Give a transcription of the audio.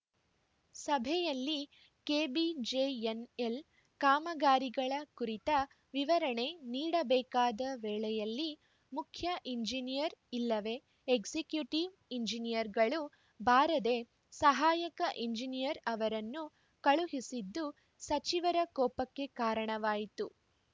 ಸಭೆಯಲ್ಲಿ ಕೆಬಿಜೆಎನ್‌ಎಲ್‌ ಕಾಮಗಾರಿಗಳ ಕುರಿತ ವಿವರಣೆ ನೀಡಬೇಕಾದ ವೇಳೆಯಲ್ಲಿ ಮುಖ್ಯ ಎಂಜಿನಿಯರ್‌ ಇಲ್ಲವೆ ಎಕ್ಸಿಕ್ಯೂಟಿವ್‌ ಎಂಜಿನಿಯರ್‌ಗಳು ಬಾರದೇ ಸಹಾಯಕ ಎಂಜಿನಿಯರ್‌ ಅವರನ್ನು ಕಳುಹಿಸಿದ್ದು ಸಚಿವರ ಕೋಪಕ್ಕೆ ಕಾರಣವಾಯಿತು